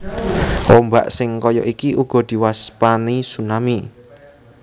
Ombak sing kaya iki uga diwastani tsunami